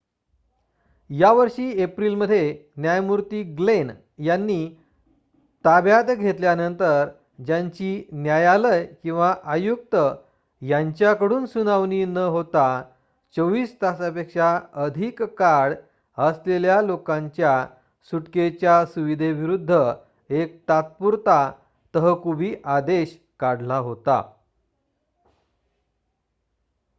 यावर्षी एप्रिल मध्ये न्यायमूर्ती ग्लेन यांनी ताब्यात घेतल्यानंतर ज्यांची न्यायालय किंवा आयुक्त यांच्याकडून सुनावणी न होता 24 तासापेक्षा अधिक काळ असलेल्या लोकांच्या सुटकेच्या सुविधेविरुद्ध एक तात्पुरता तहकुबी आदेश काढला होता